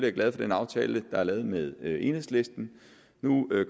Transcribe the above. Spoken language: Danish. er glad for den aftale der er lavet med enhedslisten nu